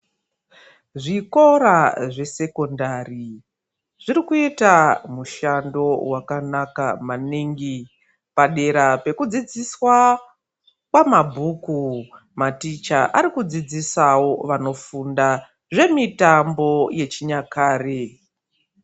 Zvikora zvesekondari zvirikuita mushando wakanaka maningi. Padera pekudzidziswa kwamabhuku, maticha arikudzidzisawo vanofunda zvemitambo yechinyakare.